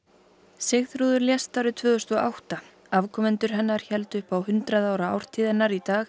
Sigþrúður lést árið tvö þúsund og átta afkomendur hennar héldu upp á hundrað ára ártíð hennar í dag